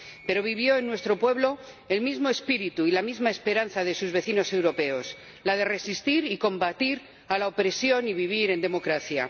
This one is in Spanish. Pero vivió en nuestro pueblo el mismo espíritu y la misma esperanza de sus vecinos europeos la de resistir y combatir a la opresión y vivir en democracia.